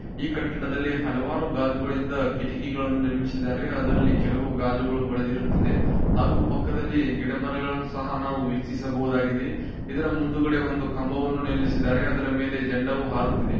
ಈ ಕಟ್ಟಡದಲ್ಲಿ ಹಲವಾರು ಗಾಜುಗಳಿಂದ ಕಿಟಕಿಗಳನ್ನು ನಿರ್ಮಿಸಿದ್ದಾರೆ ಅದರಲ್ಲಿ ಕೆಲವು ಗಾಜುಗಳು ಒಡೆದಿರುತ್ತದೆ ಹಾಗು ಪಕ್ಕದಲ್ಲಿ ಗಿಡ ಮರಗಳು ಸಹ ವೀಕ್ಷಿಸಬಹುದಾಗಿದೆ ಇದರ ಮುಂದಗಡೆ ಒಂದು ಕಂಬವನ್ನು ನಿಲ್ಲಿಸಿದ್ದಾರೆ ಅದರ ಮೇಲೆ ಜಂಡವು ಹಾರುತಿದೆ.